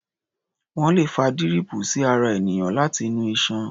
Wọ́́n lè fa díríìpù sí ara ènìyàn láti inú iṣan.